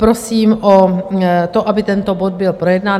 Prosím o to, aby tento bod byl projednán.